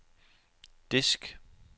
disk